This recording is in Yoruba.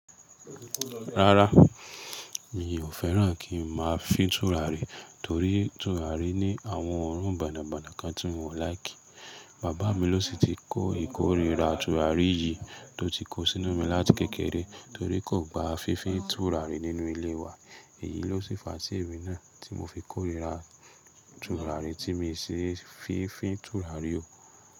Rárá, mi ò fẹ́ràn kí n máa fi tùràrí torí tùràrí ní àwọn òórùn bonabonà kan tí mi ò láìkì. Bàbá mi ló si ti kó ìkórìíra tùràrí yìí tó ti kó sínú mi láti kékeré torí kò gba fífín tùràrí nínú ilé wa. Èyí ló ṣi fa tí èmi náà tí mo fi kórìíra tùràrí tí mi sì fi fín tùràrí o.